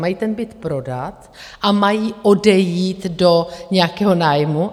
Mají ten byt prodat a mají odejít do nějakého nájmu?